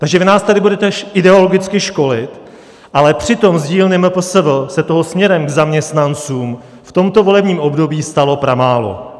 Takže vy nás tady budete ideologicky školit, ale přitom z dílny MPSV se toho směrem k zaměstnancům v tomto volebním období stalo pramálo.